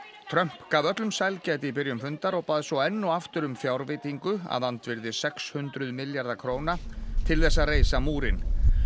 Trump gaf öllum sælgæti í byrjun fundar og bað svo enn og aftur um fjárveitingu að andvirði sex hundruð milljarða króna til þess að reisa múrinn